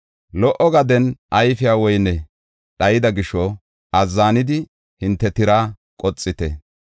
Lo77o gaden ayfiya woyney dhayida gisho, azzanidi hinte tiraa qoxite.